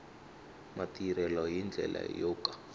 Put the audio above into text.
matirhelo hi ndlela yo ka